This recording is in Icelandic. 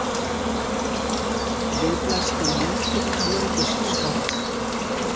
Við blasti lítill öryggisskápur.